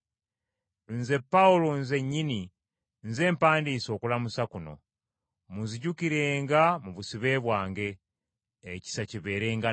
Nze Pawulo nzennyini nze mpandiise okulamusa kuno. Munzijukirenga mu busibe bwange. Ekisa kibeerenga nammwe.